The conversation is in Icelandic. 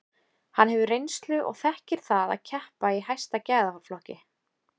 Hann hefur reynslu og þekkir það að keppa í hæsta gæðaflokki.